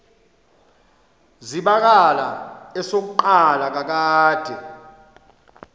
zibakala esokuqala kakade